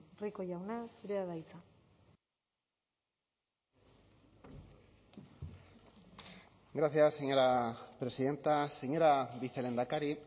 rico jauna zurea da hitza gracias señora presidenta señora vicelehendakari